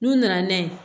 N'u nana n'a ye